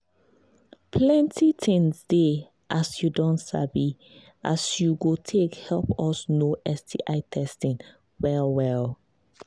plenty things they as you don sabi as you go take help us know sti testing well well